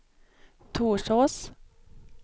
Torsås